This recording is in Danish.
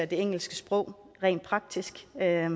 det engelske sprog rent praktisk det er